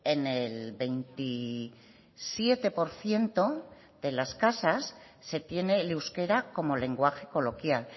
en el veintisiete por ciento de las casas se tiene el euskera como lenguaje coloquial